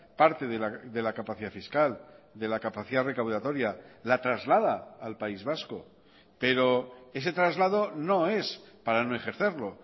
parte de la capacidad fiscal de la capacidad recaudatoria la traslada al país vasco pero ese traslado no es para no ejercerlo